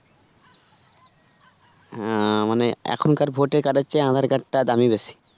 হ্যাঁ মানে এখনকার voter card এর চেয়ে aadhar card টা দামি বেশি